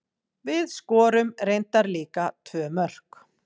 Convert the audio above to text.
Við skorum reyndar líka tvö mörk.